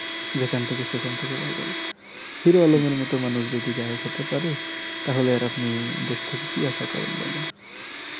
যেখান থেকে সেখান থেকে viral এটাই হিরো আলম এর মতো মানুষ যদি গায়ক হতে পারে তাহলে আর আপনি দেশ থেকে কি আশা করেন বলেন